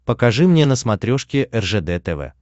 покажи мне на смотрешке ржд тв